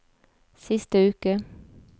siste uke